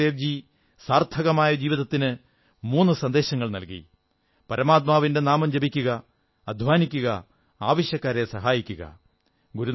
ഗുരുനാനക് ദേവ് ജി സാർഥകമായ ജീവിതത്തിന് മൂന്നു സന്ദേശങ്ങൾ നല്കി പരമാത്മാവിന്റെ നാമം ജപിക്കുക അധ്വാനിക്കുക ആവശ്യക്കാരെ സഹായിക്കുക